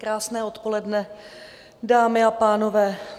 Krásné odpoledne, dámy a pánové.